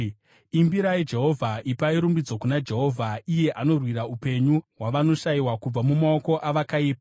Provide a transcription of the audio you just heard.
Imbirai Jehovha! Ipai rumbidzo kuna Jehovha! Iye anorwira upenyu hwavanoshayiwa kubva mumaoko avakaipa.